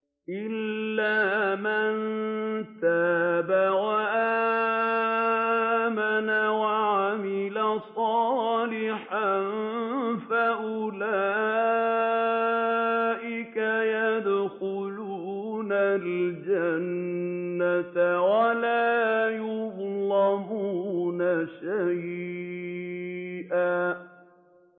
إِلَّا مَن تَابَ وَآمَنَ وَعَمِلَ صَالِحًا فَأُولَٰئِكَ يَدْخُلُونَ الْجَنَّةَ وَلَا يُظْلَمُونَ شَيْئًا